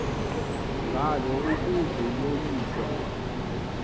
ngalo ukuze yoyikwe